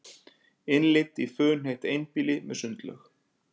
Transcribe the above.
Innlit í funheitt einbýli með sundlaug